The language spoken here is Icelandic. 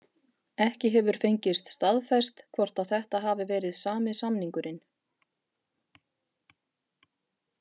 Ekki hefur fengist staðfest hvort að þetta hafi verið sami samningurinn.